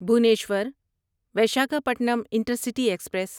Bhubaneswar Visakhapatnam intercity express